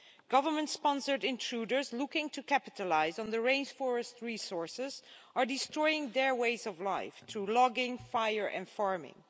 Government-sponsored intruders looking to capitalise on the rainforest's resources are destroying their ways of life through logging, fire and farming.